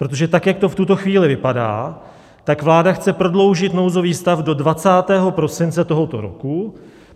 Protože tak jak to v tuto chvíli vypadá, tak vláda chce prodloužit nouzový stav do 20. prosince tohoto roku.